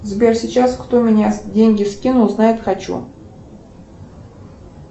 сбер сейчас кто мне деньги скинул узнать хочу